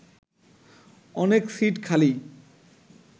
অনেক সিট খালি